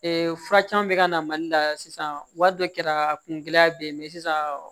fura caman bɛ ka na mali la sisan wari dɔ kɛra kungɛlɛya bɛ yen mɛ sisan